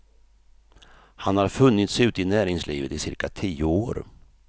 Han har funnits ute i näringslivet i cirka tio år.